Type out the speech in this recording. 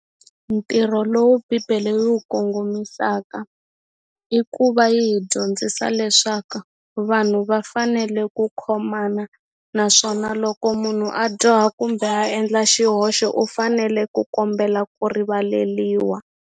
Ntirho lowu bibele yi wu kongomisaka i ku va yi hi dyondzisa leswaku vanhu va fanele ku khomana naswona loko munhu a dyoha kumbe a endla xihoxo u fanele ku kombela ku rivaleliwa.